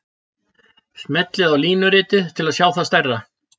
Smellið á línuritið til að sjá það stærra.